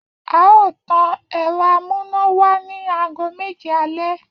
A óò tan èro amúnáwá ní aago méje alé